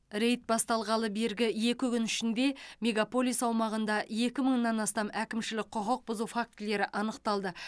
рейд басталғалы бергі екі күн ішінде мегаполис аумағында екі мыңнан астам әкімшілік құқық бұзу фактілері анықталды